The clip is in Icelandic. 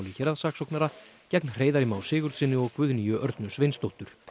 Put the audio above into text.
héraðssaksóknara gegn Hreiðari Má Sigurðssyni og Guðnýju Örnu Sveinsdóttur